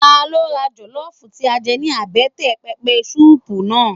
Ta ló ra jọlọfu tí a jẹ ní àbẹ́tẹ̀ pẹpẹ suupu náà?